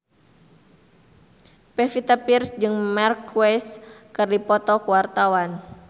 Pevita Pearce jeung Marc Marquez keur dipoto ku wartawan